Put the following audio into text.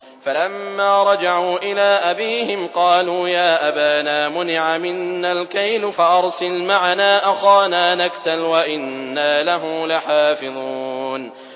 فَلَمَّا رَجَعُوا إِلَىٰ أَبِيهِمْ قَالُوا يَا أَبَانَا مُنِعَ مِنَّا الْكَيْلُ فَأَرْسِلْ مَعَنَا أَخَانَا نَكْتَلْ وَإِنَّا لَهُ لَحَافِظُونَ